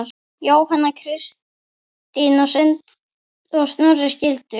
Jóhanna Kristín og Snorri skildu.